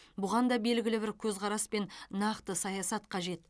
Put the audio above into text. бұған да белгілі бір көзқарас пен нақты саясат қажет